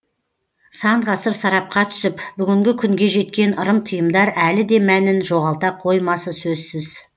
сан ғасыр сарапқа түсіп бүгінгі күнге жеткен ырым тыйымдар әлі де мәнін жоғалта қоймасы сөзсіз